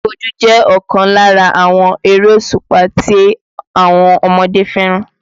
Bojú-bojú jẹ́ ọ̀kan lára àwọn erésùpá tí àwọn ọmọdé fẹ́ràn